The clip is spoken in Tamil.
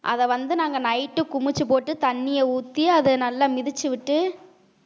அத வந்து நாங்க night குமிச்சுப் போட்டு தண்ணிய ஊத்தி அதை நல்லா மிதிச்சு விட்டு